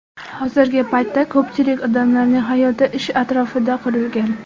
Hozirgi paytda ko‘pchilik odamlarning hayoti ish atrofida qurilgan.